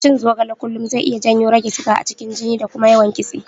Cin zogale kullum zai iya janyo rage siga a cikin jini da kuma yawan kitse.